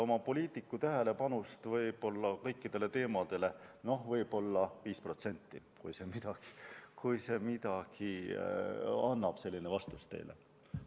Oma, poliitiku tähelepanust olen kõikidele sellistele teemadele pühendanud võib-olla 5% ulatuses, kui selline vastus teile midagi annab.